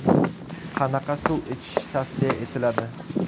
Qanaqa suv ichish tavsiya etiladi?